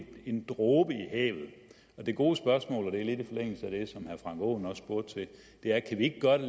en dråbe i havet det gode spørgsmål og det er